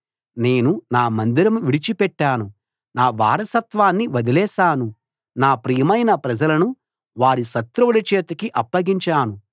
నేను నా మందిరం విడిచిపెట్టాను నా వారసత్వాన్ని వదిలేశాను నా ప్రియమైన ప్రజలను వారి శత్రువుల చేతికి అప్పగించాను